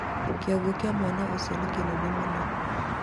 kĩongo kĩa mwana ũcio nĩ kĩnene mũno